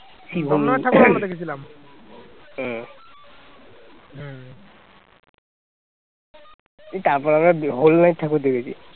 তারপর আমরা whole night ঠাকুর দেখেছি